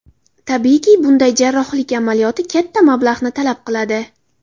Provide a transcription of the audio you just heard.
Tabiiyki, bunday jarrohlik amaliyoti katta mablag‘ni talab qiladi.